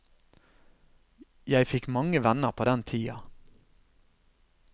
Jeg fikk mange venner på den tida.